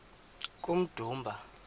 kummdumba